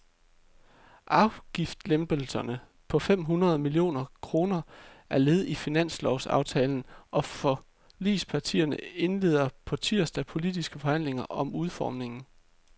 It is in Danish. Afgiftslempelsen på fem hundrede millioner kroner er led i finanslovsaftalen, og forligspartierne indleder på tirsdag politiske forhandlinger om udformningen.